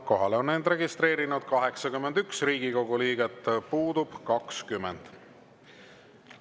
Kohalolijaks on end registreerinud 81 Riigikogu liiget, puudub 20.